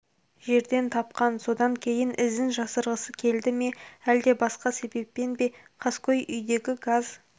жерден тапқан содан кейін ізін жасырғысы келді ме әлде басқа себеппен бе қаскөй үйдегі газ